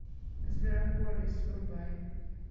зверополис врубай